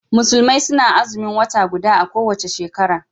Musulmai suna Azumin wata guda a kowace shekara